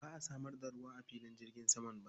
Ba a samar da ruwa a filin jirgin saman ba.